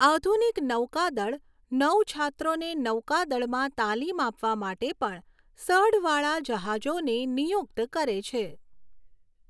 આધુનિક નૌકાદળ નૌછાત્રોને નૌકાદળમાં તાલીમ આપવા માટે પણ સઢવાળા જહાજોને નિયુક્ત કરે છે.